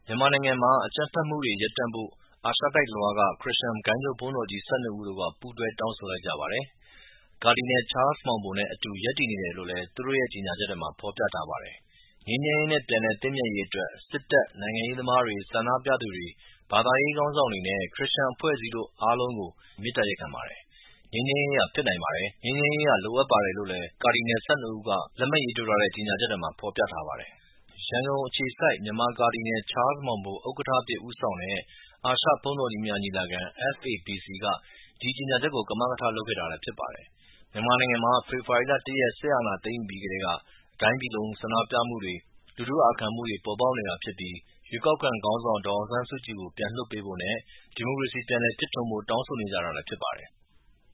ြန်မာနိုင်ငံမှာ အကြမ်းဖက်မှုတွေရပ်တန့်ဖို့ အာရှတိုက်တလွှားက ခရစ်ယာန် ဂိုဏ်းချုပ် ဘုန်းတော်ကြီး ၁၂ ဦးတို့က ပူးတွဲ တောင်းဆိုလိုက်ကြပါတယ်။ ကာဒီနယ် ချားလ်စ်မောင်ဘိုနဲ့အတူရပ်တည်နေတယ်လို့လဲ သူတို့ရဲ့ ကြေညာချက်မှာဖော်ပြထားပါတယ်။ ငြိမ်းချမ်းရေးနဲ့ပြန်လည်သင့်မြတ်ရေးအတွက် စစ်တပ်၊ နိုင်ငံရေးသမားတွေ၊ ဆန္ဒပြသူတွေ၊ ဘာသာရေးခေါင်းဆောင်တွေနဲ့ခရစ်ယာန်အဖွဲ့အစည်းတို့ အားလုံးကို မေတ္တာရပ်ခံပါတယ်။ ငြိမ်းချမ်ရေးဟာ ဖြစ်နိုင်ပါတယ်။ ငြိမ်းချမ်းရေး လိုအပ်ပါတယ် လို့ကာဒီနယ် ၁၂ ဦးက လက်မှတ်ရေးထိုးထားတဲ့ ကြေညာချက်ထဲမှာ ဖော်ပြထားပါတယ်။ ရန်ကုန်အခြေစိုက် မြန်မာ ကာဒီနယ် ချားလ်စ်မောင်ဘို ဥက္ကဌအဖြစ်ဦးဆောင်တဲ့ အာရှ ဘုန်းတော်ကြီးများ ညီလာခံ (FABC) က ဒီကြေညာချက်ကို ကမကထ လုပ်ခဲ့တာလည်းဖြစ်ပါတယ်။ မြန်မာနိုင်ငံမှာ ဖေဖော်ဝါရီ ၁ ရက် စစ်အာဏာသိမ်းယူပြီးကတည်းက တိုင်းပြည်တခုလုံး ဆန္ဒပြမှုတွေ၊ လူထုအာခံမှုတွေပေါ်ပေါက်နေတာဖြစ်ပြီး ရွေးကောက်ခံခေါင်းဆောင် ဒေါ်အောင်ဆန်းစုကြည်ကို ပြန်လွှတ်ပေးဖို့နဲ့ဒီမိုကရေစီ ပြန်လည်ဖြစ်ထွန်းဖို့တောင်းဆိုနေကြတာလည်းဖြစ်ပါတယ်။